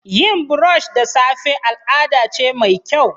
Yin brush da safe al'ada ce mai kyau.